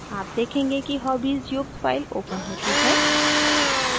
आप देखेंगे कि hobbies युक्त file opens होती है